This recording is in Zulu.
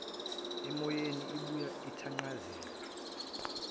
emoyeni ibuya ithanqazeka